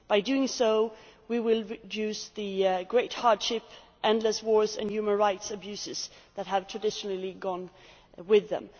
By doing so, we will reduce the great hardship, endless wars and human rights abuses that have traditionally come with them.